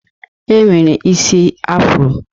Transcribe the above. E nwere isi Afro.